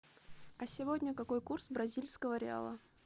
а сегодня какой курс бразильского реала